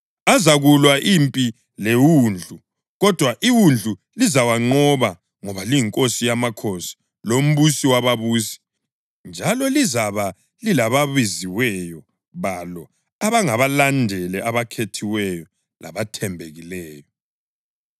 Azakulwa impi leWundlu, kodwa iWundlu lizawanqoba ngoba liyiNkosi yamakhosi loMbusi wababusi, njalo lizabe lilababiziweyo balo abangabalandeli abakhethiweyo labathembekileyo.”